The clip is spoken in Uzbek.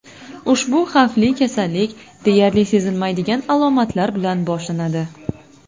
Ushbu xavfli kasallik deyarli sezilmaydigan alomatlar bilan boshlanadi.